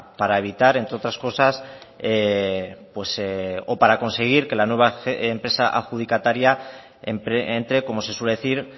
para evitar entre otras cosas o para conseguir que la nueva empresa adjudicataria entre como se suele decir